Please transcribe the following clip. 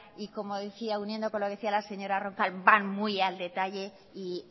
y como decía uniendo con lo que decía la señora roncal van muy al detalle y